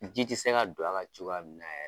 Ji ti se ka don a ka cogoya min na yɛrɛ.